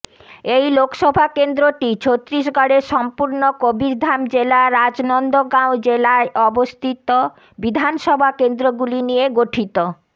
এই লোকসভা কেন্দ্রটি ছত্তিশগড়ের সম্পূর্ণ কবীরধাম জেলা রাজনন্দগাঁও জেলায় অবস্থিত বিধানসভা কেন্দ্রগুলি নিয়ে গঠিত